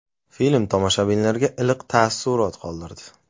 Film tomoshabinlarda iliq taassurot qoldirdi.